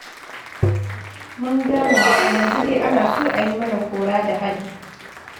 Mun gane, a yanzu dai ana so a yi mana kora da hali.